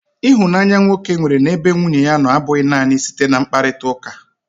Ịhụnanya nwoke nwere n'ebe nwunye ya nọ abụghị naanị site na mkparịtaụka.